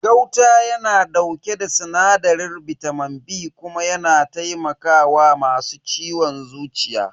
Gauta yana dauke da sinadarin bitamin B kuma yana taimaka wa masu ciwon zuciya.